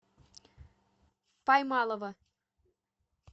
поймалова